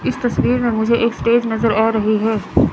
इस तस्वीर में मुझे एक स्टेज नजर आ रही है।